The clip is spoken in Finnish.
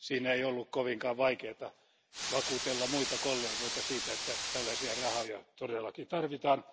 Ei ollut kovinkaan vaikeata vakuutella muita kollegoita siitä, että tällaisia rahoja todella tarvitaan.